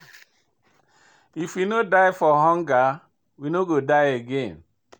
If we no die for hunger, we no go die again.